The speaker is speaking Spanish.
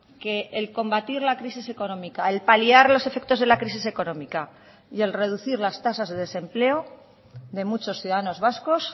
que el combatir la crisis económica el paliar los efectos de la crisis económica y el reducir las tasas de desempleo de muchos ciudadanos vascos